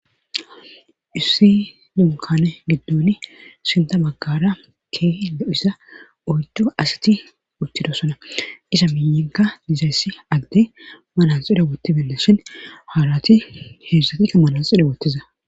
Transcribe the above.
issi dunkane giddoni sinta maggara ke lo7isa oydu asiti uttido sona isa minyenka dizayssi agdey malanxida wottibeela shin haarati heedzszatikka malanxida wottiza